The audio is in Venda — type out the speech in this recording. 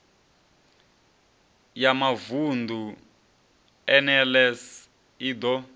ya mavunḓu nls i ḓo